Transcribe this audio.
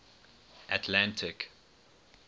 atlantic